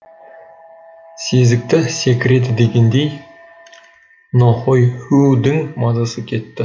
сезікті секіреді дегендей нохойхүүдің мазасы кетті